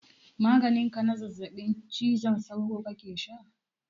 Maganin ka na zazzaɓin cizon sauro kake sha?